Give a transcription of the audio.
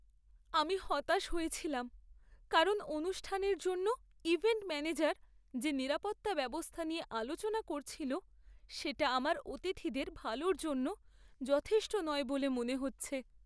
আমি হতাশ হয়েছিলাম কারণ অনুষ্ঠানের জন্য ইভেন্ট ম্যানেজার যে নিরাপত্তা ব্যবস্থা নিয়ে আলোচনা করেছিল সেটা আমার অতিথিদের ভালোর জন্য যথেষ্ট নয় বলে মনে হচ্ছে।